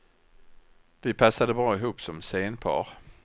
Vi passade bra ihop som scenpar.